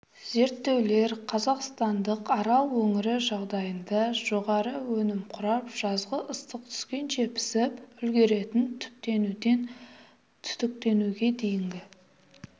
зерттеулер қазақстандық арал өңірі жағдайында жоғары өнім құрап жазғы ыстық түскенше пісіп үлгеретін түптенуден түтіктенуге дейінгі